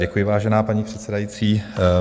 Děkuji, vážená paní předsedající.